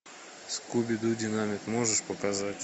скуби ду динамит можешь показать